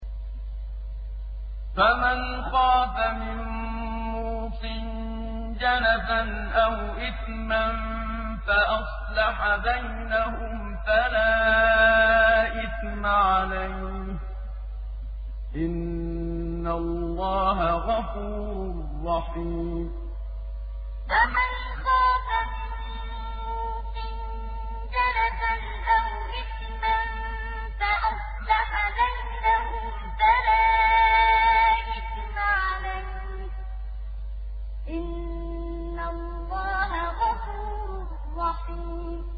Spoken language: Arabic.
فَمَنْ خَافَ مِن مُّوصٍ جَنَفًا أَوْ إِثْمًا فَأَصْلَحَ بَيْنَهُمْ فَلَا إِثْمَ عَلَيْهِ ۚ إِنَّ اللَّهَ غَفُورٌ رَّحِيمٌ فَمَنْ خَافَ مِن مُّوصٍ جَنَفًا أَوْ إِثْمًا فَأَصْلَحَ بَيْنَهُمْ فَلَا إِثْمَ عَلَيْهِ ۚ إِنَّ اللَّهَ غَفُورٌ رَّحِيمٌ